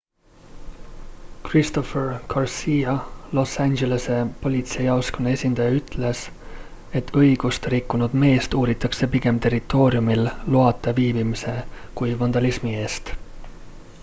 christopher garcia los angelese politseijaoskonna esindaja ütles et õigust rikkunud meest uuritakse pigem territooriumil loata viibimise kui vandalismi eest